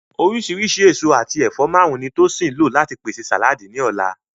Oríṣìíríṣìí èso àti ẹ̀fọ́ márùn-ún ni Tosin lò láti pèsè sàláàdì ní ọ̀la